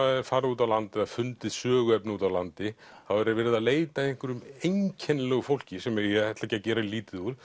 farið út á land eða fundið söguefni úti á landi þá er er verið að leita að einhverju einkennilegu fólki sem ég ætla ekki að gera lítið úr